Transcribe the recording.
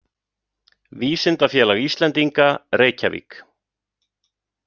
Vísindafélag Íslendinga, Reykjavík.